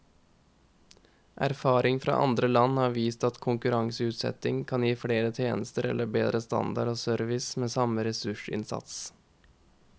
Erfaring fra andre land har vist at konkurranseutsetting kan gi flere tjenester eller bedre standard og service med samme ressursinnsats.